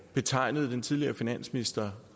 betegnede den tidligere finansminister